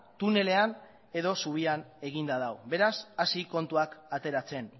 tunelean edo zubian eginda dago beraz hasi kontuak ateratzen